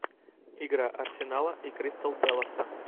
игра арсенала и кристал пэласа